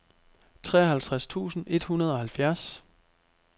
treoghalvtreds tusind et hundrede og halvfjerds